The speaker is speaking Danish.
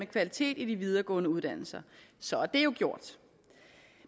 kvalitet i de videregående uddannelser så er det jo gjort